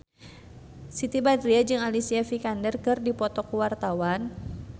Siti Badriah jeung Alicia Vikander keur dipoto ku wartawan